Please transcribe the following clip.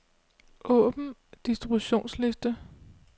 Åbn distributionsliste.